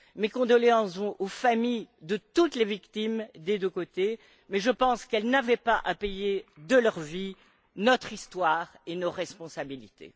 Mes condoléances vont aux familles de toutes les victimes, des deux côtés, mais je pense qu'elles n'avaient pas à payer de leur vie notre histoire et nos responsabilités.